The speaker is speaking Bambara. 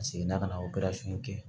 A seginna ka na kɛ